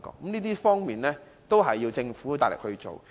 上述各方面要靠政府大力推行。